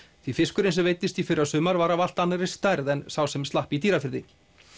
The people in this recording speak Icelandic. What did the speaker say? því fiskurinn sem veiddist í fyrra var af allt annarri stærð en sá sem slapp í Dýrafirði